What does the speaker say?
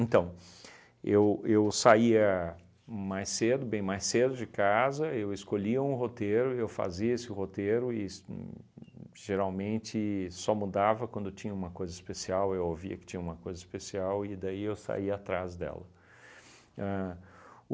Então, eu eu saía mais cedo, bem mais cedo de casa, eu escolhia um roteiro, eu fazia esse roteiro es uhn geralmente só mudava quando tinha uma coisa especial, eu ouvia que tinha uma coisa especial e daí eu saía atrás dela. Ahn